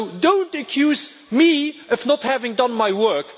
So do not accuse me of not having done my work.